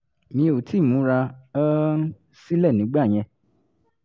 mi ò tíì múra um sílẹ̀ nígbà yẹn